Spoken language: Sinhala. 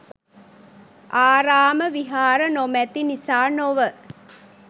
ආරාම විහාර නොමැති නිසා නොව